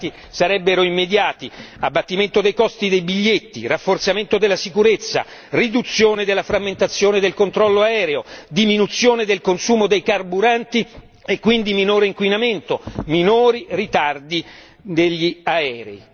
I risultati sarebbero immediati, abbattimento dei costi dei biglietti, rafforzamento della sicurezza, riduzione della frammentazione del controllo aereo, diminuzione del consumo dei carburanti e quindi minore inquinamento, minori ritardi degli aerei.